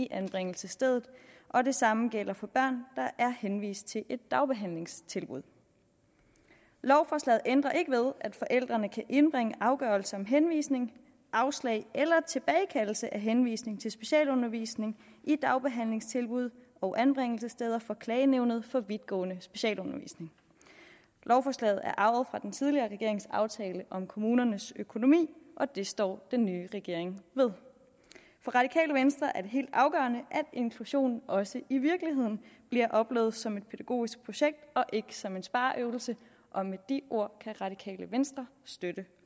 anbringelsesstedet og det samme gælder for børn der er henvist til et dagbehandlingstilbud lovforslaget ændrer ikke ved at forældrene kan indbringe afgørelse om henvisning afslag eller tilbagekaldelse af henvisning til specialundervisning i dagbehandlingstilbud og anbringelsessteder for klagenævnet for vidtgående specialundervisning lovforslaget er arvet fra den tidligere regerings aftale om kommunernes økonomi og det står den nye regering ved for radikale venstre er det helt afgørende at inklusionen også i virkeligheden bliver oplevet som et pædagogisk projekt og ikke som en spareøvelse med de ord kan radikale venstre støtte